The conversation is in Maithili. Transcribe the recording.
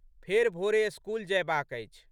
फेर भोरे स्कूल जयबाक अछि।